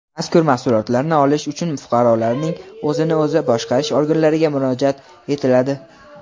Mazkur mahsulotlarni olish uchun fuqarolarning o‘zini o‘zi boshqarish organlariga murojaat etiladi.